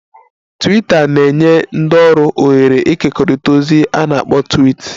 "Twiita na-enye ndị ọrụ ohere ịkekọrịta ozi a na-akpọ ""twiits"""